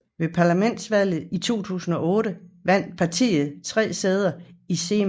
Ved parlamentsvalget i 2008 vandt partiet 3 sæder i Seimas